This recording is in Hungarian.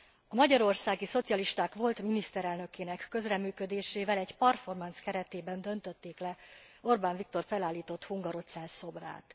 A magyarországi szocialisták volt miniszterelnökének közreműködésével egy performance keretében döntötték le Orbán Viktor felállított hungarocell szobrát.